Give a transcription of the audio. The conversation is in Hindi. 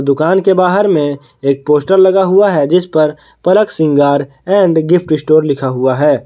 दुकान के बाहर में एक पोस्टर लगा हुआ है जिस पर पलक श्रृंगार और गिफ्ट स्टोर लिखा हुआ है।